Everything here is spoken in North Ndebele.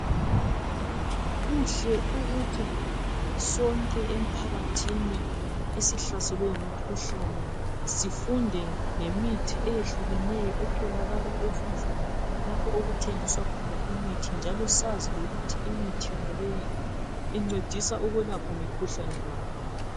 Kuhle ukuthi sonke emphakathini esihlaselwe yimikhuhlane sifunde ngemithi eyehlukeneyo etholakala ezindlini lapho okuthengiswa khona imithi njalo sazi ngokuthi imithi yonaleyi incedisa ukwelapha mikhuhlane bani.